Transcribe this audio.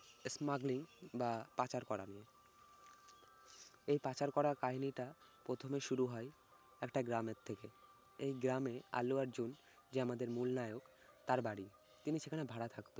smuggling বা পাচার করা এই পাচার করার কাহিনী টা প্রথমে শুরু হয় একটা গ্রামের থেকে। এই গ্রামে আল্লু আর্জুন যে আমাদের মূল নায়ক তার বাড়ি। তিনি সেখানে ভাড়া থাকে।